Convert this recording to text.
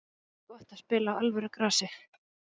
Það verður gott að spila á alvöru grasi.